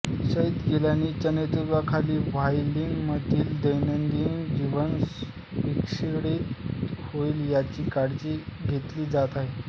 सईद गिलानींच्या नेतृत्वाखाली व्हॅलीमधील दैनंदिन जीवन विस्कळीत होईल याची काळजी घेतली जात आहे